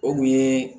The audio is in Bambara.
O kun ye